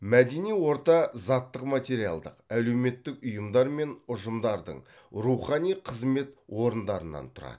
мәдени орта заттық материалдық әлеуметтік ұйымдар мен ұжымдардың рухани қызмет орындарынан тұрады